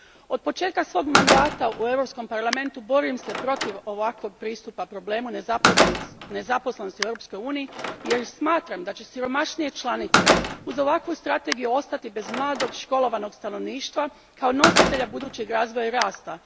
Od početka svog mandata u Europskom parlamentu borim se protiv ovakvog pristupa problemu nezaposlenosti u Europskoj uniji, jer smatram da će siromašnije članice uz ovakvu strategiju ostati bez mladog školovanog stanovništva kao nositelja budućeg razvoja i rasta.